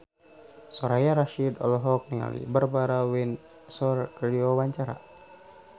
Soraya Rasyid olohok ningali Barbara Windsor keur diwawancara